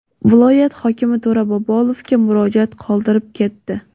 viloyat hokimi To‘ra Bobolovga murojaat qoldirib ketdi.